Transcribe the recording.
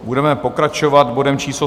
Budeme pokračovat bodem číslo